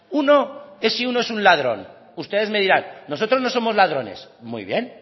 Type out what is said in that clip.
uno es si uno es un ladrón ustedes me dirán nosotros no somos ladrones muy bien